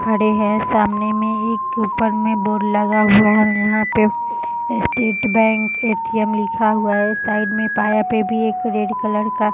खड़े हैं सामने में एक ऊपर में बोर्ड लगा हुआ है यहाँ पे स्टेट बैंक ए.टी.एम. लिखा हुआ है | साइड में पाया पे भी एक रेड कलर का --